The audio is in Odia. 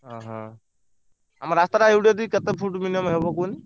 ଓହୋ ଆମ ରାସ୍ତା ଟା ଏଇଟୁ ଏତିକି କେତେ ଫୁଟ minimum ହବ କୁହନି?